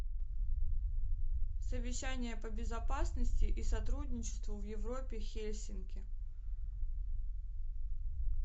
совещание по безопасности и сотрудничеству в европе хельсинки